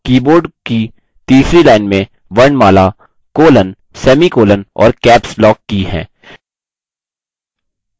keyboard की तीसरी line में वर्णमाला colon semicolon और caps lock की हैं